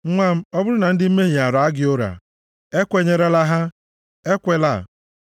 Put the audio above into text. Nwa m, ọ bụrụ na ndị mmehie ara gị ụra, ekwenyerela ha, Ekwela! + 1:10 \+xt Jen 39:7-10; Dit 13:8; Efe 5:11.\+xt*